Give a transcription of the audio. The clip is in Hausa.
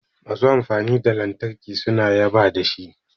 Masu amfani da lantarki suna yaba da shi